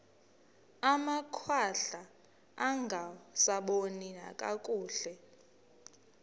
amakhwahla angasaboni nakakuhle